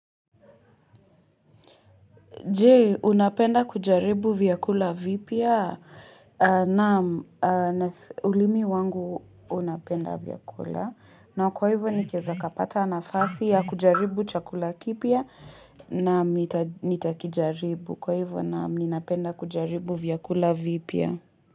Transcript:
Je, unapenda kujaribu vyakula vipya? Naam, nase ulimi wangu unapenda vyakula. Na kwa hivyo nikeza kapata nafasi ya kujaribu chakula kipya naam nita nitakijaribu. Kwa hivyo naam, ninapenda kujaribu vyakula vipya.